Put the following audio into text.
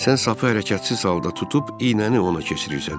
Sən sapı hərəkətsiz halda tutub iynəni ona keçirirsən.